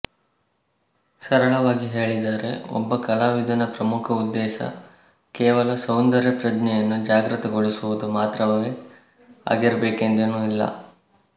ಸರಳವಾಗಿ ಹೇಳಿದರೆ ಒಬ್ಬ ಕಲಾವಿದನ ಪ್ರಮುಖ ಉದ್ದೇಶ ಕೇವಲ ಸೌಂದರ್ಯಪ್ರಜ್ಞೆಯನ್ನು ಜಾಗೃತಗೊಳಿಸುವುದು ಮಾತ್ರವೇ ಆಗಿರಬೇಕೆಂದೇನೂ ಇಲ್ಲ